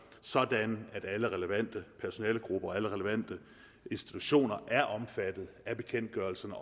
sådan at alle relevante personalegrupper alle relevante institutioner er omfattet af bekendtgørelserne